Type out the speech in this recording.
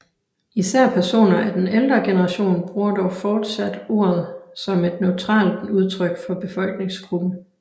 Især personer af den ældre generation bruger dog fortsat ordet som et neutralt udtryk for befolkningsgruppen